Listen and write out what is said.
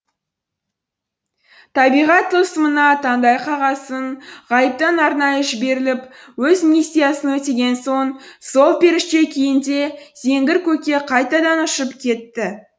табиғат тылсымына таңдай қағасың ғайыптан арнайы жіберіліп өз миссиясын өтеген соң сол періште күйінде зеңгір көкке қайтадан ұшып кетті